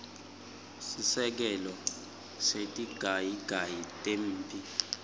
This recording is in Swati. seselekelelo setigayigayi temphi